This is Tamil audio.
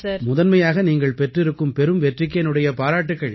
முதன்மையாக நீங்கள் பெற்றிருக்கும் பெரும் வெற்றிக்கு என்னுடைய பாராட்டுக்கள்